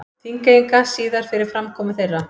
Þingeyinga síðar fyrir framkomu þeirra.